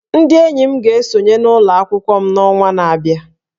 Ndị enyi m ga-esonye n'ụlọ akwụkwọ m n'ọnwa na-abịa